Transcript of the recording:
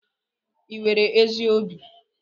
Ị nwere ezi obi?